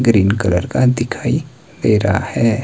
Green colour का दिखाई दे रहा है।